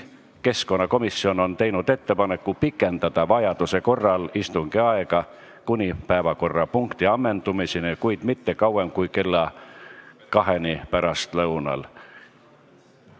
Keskkonnakomisjon on teinud ettepaneku pikendada vajaduse korral istungi aega kuni päevakorrapunkti ammendumiseni, kuid mitte kauem kui kella kaheni pärastlõunal.